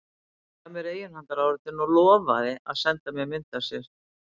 Hann gaf mér eiginhandaráritun og lofaði að senda mér mynd af sér.